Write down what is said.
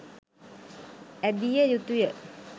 ඇඳිය යුතුය.